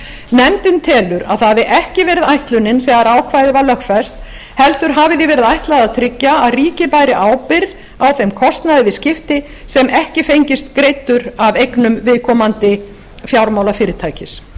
nefndin telur að það hafi ekki verið ætlunin þegar ákvæðið var lögfest heldur hafi því verið ætlað að tryggja að ríkið bæri ábyrgð á þeim kostnaði við skipti sem ekki fengist greiddur af eignum viðkomandi fjármálafyrirtækis